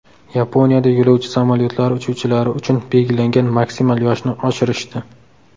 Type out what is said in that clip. Yaponiyada yo‘lovchi samolyotlari uchuvchilari uchun belgilangan maksimal yoshni oshirishdi.